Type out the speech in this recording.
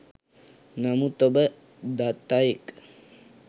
නමුත් ඔබ දත් අයෙක්